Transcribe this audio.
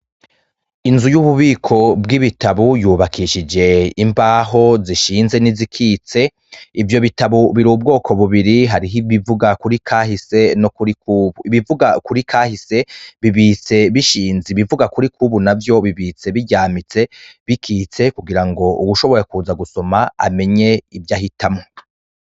Inzu y’ububiko bw’ibitabo yubakishije imbaho zishinze nizikitse .Ivyo bitabo biri ubwoko bubiri, hari ibivuga kuri kahise no kuri kubu ;ibivuga kuri kahise bibitse bishinze ibivuga kuri kubu navyo bibitswe biryamitse bikitse kugira ngo uwushobora kuza gusoma amenye ivyo ahitamwo.